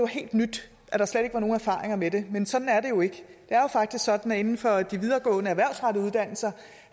helt nyt at der slet ikke er nogen erfaringer med det men sådan er det jo ikke det er jo faktisk sådan at inden for de videregående erhvervsrettede uddannelser